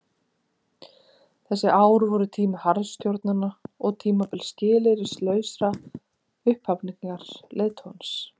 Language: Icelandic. Þessi ár voru tími harðstjóranna og tímabil skilyrðislausrar upphafningar leiðtogans.